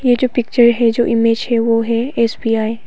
ये जो पिक्चर है जो इमेज है वो है एस_बी_आई ।